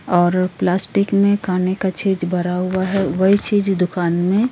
और प्लास्टिक में खाने का चीज भरा हुआ है वही चीज दुकान में --